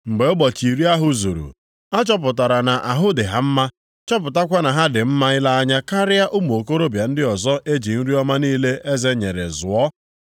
Mgbe ụbọchị iri ahụ zuru, a chọpụtara na ahụ dị ha mma, chọpụtakwa na ha dị mma ile anya karịa ụmụ okorobịa ndị ọzọ e ji nri ọma niile eze nyere zụọ.